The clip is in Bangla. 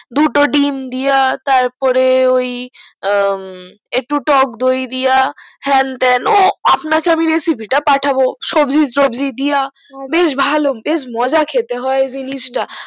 দুটো ডিম দিয়া তারপরে ওই একটু টক দই দিয়া হ্যান তান ও আপনাকে আমি recipe টা পাঠাবো সবজি টবগী দিয়া বেশ ভালো বেশ মজা খেতে হয় জিনিস টা